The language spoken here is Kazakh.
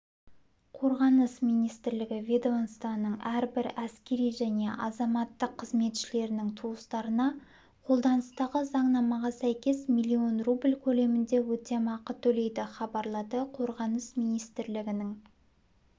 қорғаныс министрлігі ведомстваның әрбір әскери және азаматтық қызметшілерінің туыстарына қолданыстағы заңнамаға сәйкес миллион рубль көлемінде өтемақы төлейді хабарлады қорғаныс министрлігінің